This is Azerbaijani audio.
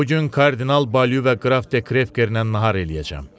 Bu gün kardinal Balü və qraf Dekrekerlə nahar eləyəcəm.